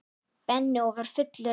Benni og var fullur áhuga.